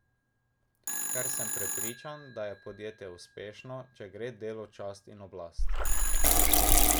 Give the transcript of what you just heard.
Ker sem prepričan, da je podjetje uspešno, če gre delu čast in oblast.